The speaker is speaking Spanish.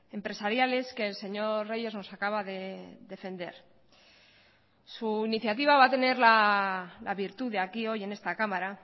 empresariales que el señor reyes nos acaba de defender su iniciativa va a tener la virtud de aquí hoy en esta cámara